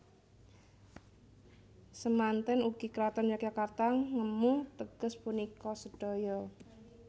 Semanten ugi Kraton Yogyakarta ngemu teges punika sedaya